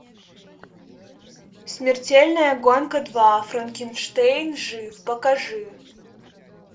смертельная гонка два франкенштейн жив покажи